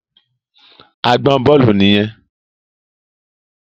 Àgbọn Bólú nìyẹn.